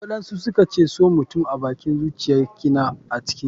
waɗansu suka ce so mutum abakin zuciyar kina a can ciki ba.